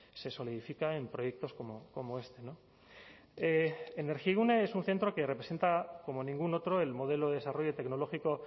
se solidifica en proyectos como este energigune es un centro que representa como ningún otro el modelo de desarrollo tecnológico